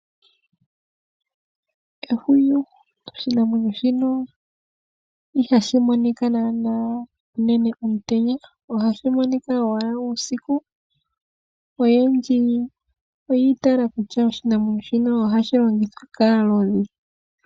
Ehwiyu .Oshinamwenyo shino ihashi monika naana unene omutenya. Ohashi monika owala uusiku . Oyendji oyi itayela kutya oshinamwenyo shino ohashi longithwa kaalodhi.